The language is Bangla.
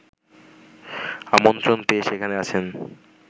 আমন্ত্রণ পেয়ে সেখানে আছেন